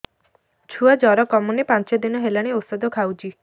ଛୁଆ ଜର କମୁନି ପାଞ୍ଚ ଦିନ ହେଲାଣି ଔଷଧ ଖାଉଛି